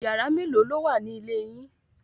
Yàrá mélòó ló wà ní ilé yín?